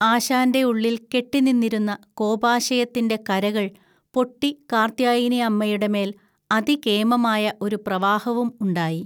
ആശാൻ്റെ ഉള്ളിൽ കെട്ടിനിന്നിരുന്ന കോപാശയത്തിൻ്റെ കരകൾ പൊട്ടി കാർത്യായനിഅമ്മയുടെമേൽ അതികേമമായ ഒരു പ്രവാഹവും ഉണ്ടായി.